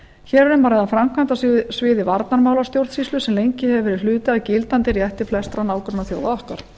hér er um að ræða framkvæmd á sviði varnarmálastjórnsýslu sem lengi hefur verið hluti af gildandi rétti flestra nágrannaþjóða okkar